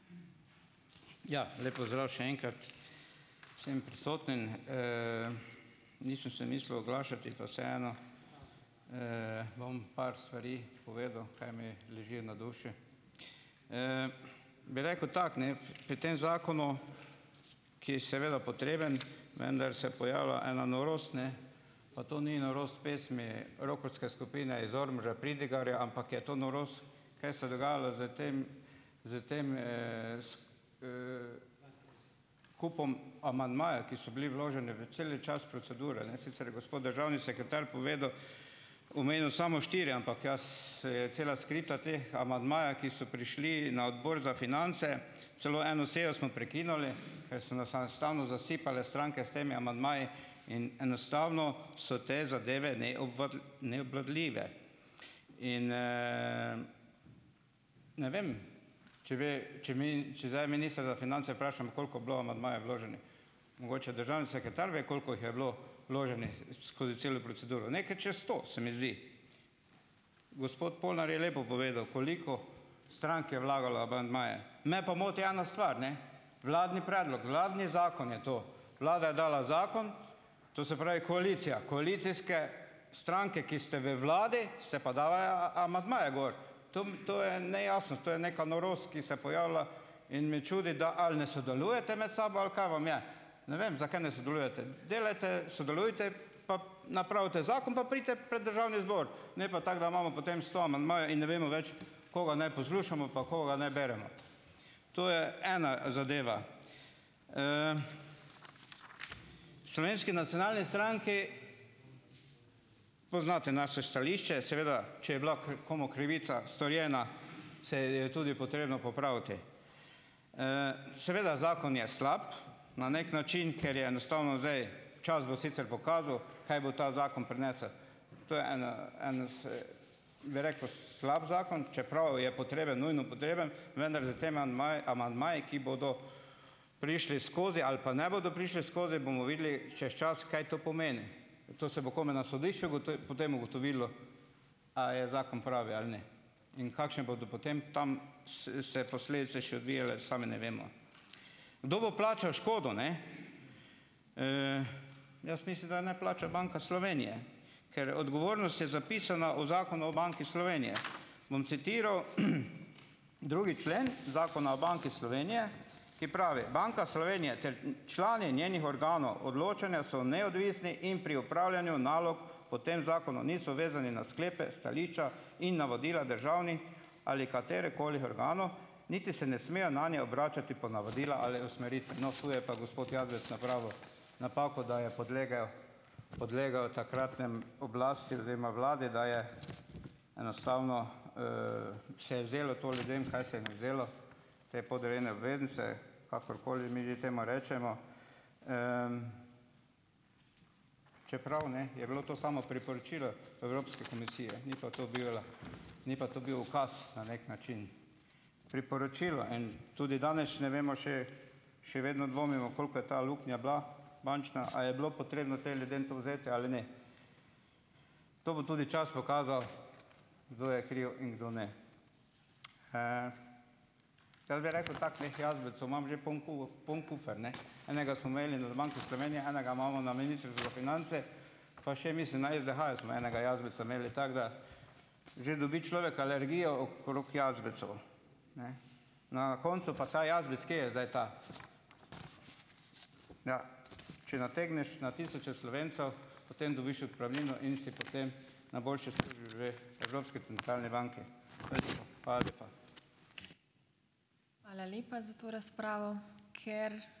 Nisem se mislil oglašati, pa vseeno. Bom par stvari povedal, kaj mi leži na duši. bi rekel tako, ne, pri tem zakonu, ki je seveda potreben, vendar se pojavlja ena norost ne, pa to ni norost pesmi rockerske skupine iz Ormoža Pridigarja, ampak je to norost, kaj se je dogajalo v tem s tem, kupom amandmajev, ki so bili vloženi v celi čas procedure, ne. Sicer je gospod državni sekretar povedal, omenil samo štiri, ampak jaz, je cela skripta teh amandmajev, ki so prišli na Odbor za finance, celo eno sejo smo prekinili, ker so nas enostavno zasipale stranke s temi amandmaji. In enostavno so te zadeve neobvladljive. In, ne vem, če če če zdaj ministra za finance vprašamo, koliko je bilo amandmajev vloženih, mogoče državni sekretar ve, koliko jih je bilo vloženih skozi celo proceduro. Nekaj čez sto, se mi zdi. Gospod Polnar je lepo povedal, koliko strank je vlagalo amandmaje. Me pa moti ena stvar, ne. Vladni predlog, vladni zakon je to. Vlada je dala zakon, to se pravi koalicija. Koalicijske stranke, ki ste v vladi, ste pa dajale amandmaje gor. To to je nejasnost, to je neka norost, ki se pojavlja, in me čudi, da ali ne sodelujete med sabo, ali kaj vam je. Ne vem, zakaj ne sodelujete. Delajte, sodelujte pa napravite zakon, pa pridite pred državni zbor. Ne pa tako, da imamo potem sto amandmajev in ne vemo več, koga naj poslušamo, pa koga naj beremo. To je ena zadeva. V Slovenski nacionalni stranki, poznate naše stališče. Seveda če je bila komu krivica storjena, se je tudi potrebno popraviti. Seveda zakon je slab na neki način, ker je enostavno, zdaj, čas bo sicer pokazal, kaj bo ta zakon prinesel. To je en, en bi rekel, slab zakon, čeprav je potreben nujno potreben. Vendar v tem amandmaji, ki bodo prišli skozi ali pa ne bodo prišli skozi, bomo videli čez čas, kaj to pomeni. To se bo komaj na sodišču potem ugotovilo, a je zakon pravi ali ne. In kakšne bodo potem tam se posledice še odvijale, sami ne vemo. Kdo bo plačal škodo? Ne. Jaz mislim, da naj jo plača Banka Slovenije. Ker odgovornost je zapisana v Zakonu o Banki Slovenije. Bom citiral, drugi člen Zakona o Banki Slovenije, ki pravi: "Banka Slovenije ter člani njenih organov odločanja so neodvisni in pri opravljanju nalog po tem zakonu niso vezani na sklepe, stališča in na vodila državnih ali katerihkoli organov niti se ne smejo nanje obračati po navodila ali usmeritev." No, tu je pa gospod Jazbec napravil napako, da je podlegel podlegel takratni oblasti oziroma vladi, da je enostavno, se je vzelo to ljudem, kaj se jim je vzelo, te podrejene obveznice, kakorkoli mi že temu rečemo, čeprav, ne, je bilo to samo priporočilo Evropske komisije, ni pa to bilo ni pa to bil ukaz na neki način priporočila. In tudi danes ne vemo, še še vedno dvomimo, koliko je ta luknja bila, bančna. A je bilo potrebno tem ljudem to vzeti ali ne? To bo tudi čas pokazal kdo je kriv in kdo ne. Jaz bi rekel tako, teh Jazbecev imam že poln poln kufer, ne. Enega smo imeli na Banki Slovenije, enega imamo na Ministrstvu za finance, pa še mislim, na SDH-ju smo enega Jazbeca imeli, tako da že dobi človek alergijo okrog Jazbecev. Ne. Na koncu pa ta Jazbec, kje je zdaj ta. Ja. Če nategneš na tisoče Slovencev, potem dobiš odpravnino in si potem na boljši službi v Evropski centralni banki. To je vse. Hvala lepa.